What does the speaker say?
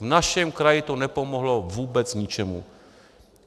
V našem kraji to nepomohlo vůbec ničemu.